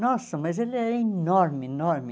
Nossa, mas ele era enorme, enorme.